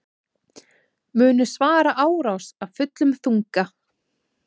Munu svara árás af fullum þunga